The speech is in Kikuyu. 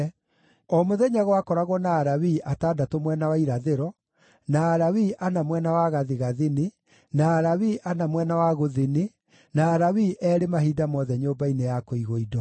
O mũthenya gwakoragwo na Alawii atandatũ mwena wa irathĩro, na Alawii ana mwena wa gathigathini, na Alawii ana mwena wa gũthini, na Alawii eerĩ mahinda mothe nyũmba-inĩ ya kũigwo-indo.